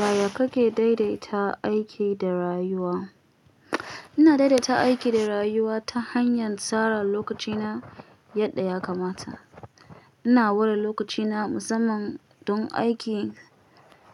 Yaya kake daidaita aiki da rayuwa? Ina daidaita aiki da rayuwa ta hanyar tsara lokacina yadda ya kamata. Ina ware lokacina musamman don aiki,